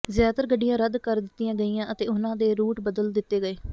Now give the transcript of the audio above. ਜ਼ਿਆਦਾਤਰ ਗੱਡੀਆਂ ਰੱਦ ਕਰ ਦਿੱਤੀਆਂ ਗਈਆਂ ਅਤੇ ਉਨ੍ਹਾਂ ਦੇ ਰੂਟ ਬਦਲ ਦਿੱਤੇ ਗਏ